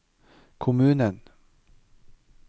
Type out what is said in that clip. kommunen